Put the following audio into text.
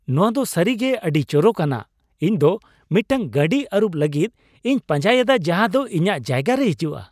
ᱱᱚᱶᱟ ᱫᱚ ᱥᱟᱹᱨᱤᱜᱮ ᱟᱹᱰᱤ ᱪᱚᱨᱚᱠ ᱟᱱᱟᱜ ᱾ ᱤᱧ ᱫᱚ ᱢᱤᱫᱴᱟᱝ ᱜᱟᱹᱰᱤ ᱟᱹᱨᱩᱵ ᱞᱟᱹᱜᱤᱫ ᱤᱧ ᱯᱟᱸᱡᱟᱭᱮᱫᱟ ᱡᱟᱦᱟ ᱫᱚ ᱤᱧᱟᱜ ᱡᱟᱭᱜᱟ ᱨᱮ ᱦᱤᱡᱩᱜᱼᱟ ᱾